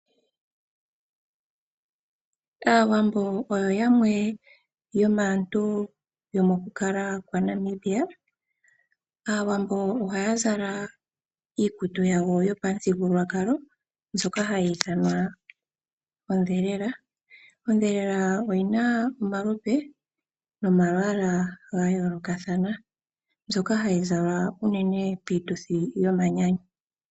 Aawambo oyo yamwe yomaantu yomo kukala kwaNamibia. Aawambo oha ya zala iikutu yawo yopamuthigululwakalo mbyoka hayi ithanwa ondhelela. Ondhelela oyina omalupe nomalwaala ga yooloka thana mbyoka hayi zalwa unene piituthi yomanyanyu.